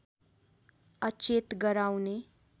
अचेत गराउने